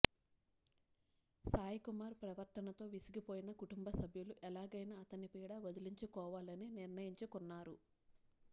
సాయికుమార్ ప్రవర్తనతో విసిగిపోయిన కుటుంబసభ్యులు ఎలాగైనా అతని పీడ వదిలించుకోవాలని నిర్ణయించుకున్నారు